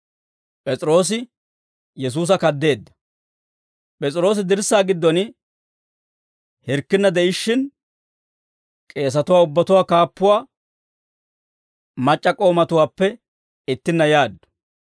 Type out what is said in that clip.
P'es'iroosi dirssaa giddon hirkkinna de'ishshin, k'eesatuwaa ubbatuwaa kaappuwaa mac'c'a k'oomatuwaappe ittinna yaaddu.